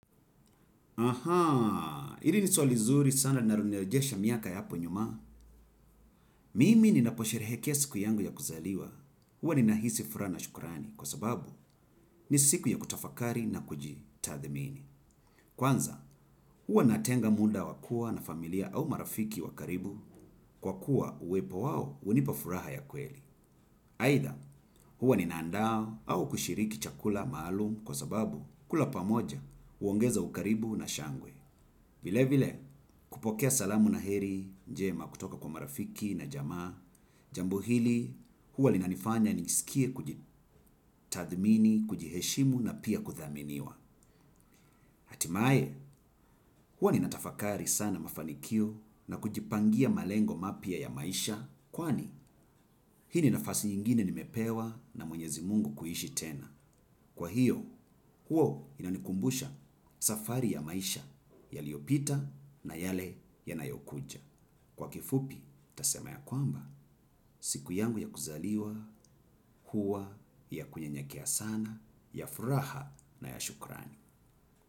Ahaa, hili ni swali nzuri sana linalonirejesha miaka ya hapo nyuma. Mimi ninaposherehekea siku yangu ya kuzaliwa. Huwa ninahisi furaha na shukrani kwa sababu ni siku ya kutafakari na kujitathimini. Kwanza, huwa natenga muda wa kuwa na familia au marafiki wa karibu kwa kuwa uwepo wao hunipa furaha ya kweli. Aidha, huwa nina andaa au kushiriki chakula maalum kwa sababu kula pamoja huongeza ukaribu na shangwe. Vile vile kupokea salamu na heri njema kutoka kwa marafiki na jamaa, jambo hili huwa linanifanya nijiskie kujitathmini, kujiheshimu na pia kuthaminiwa. Hatimaye huwa ninatafakari sana mafanikio na kujipangia malengo mapya ya maisha kwani hii ni nafasi ingine nimepewa na mwenyezi mungu kuishi tena. Kwa hiyo huo inanikumbusha safari ya maisha yaliyopita na yale yanayokuja. Kwa kifupi, tutasema ya kwamba, siku yangu ya kuzaliwa, huwa, ya kunyenyekea sana, ya furaha na ya shukrani.